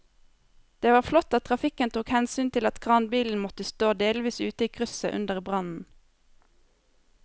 Det var flott at trafikken tok hensyn til at kranbilen måtte stå delvis ute i krysset under brannen.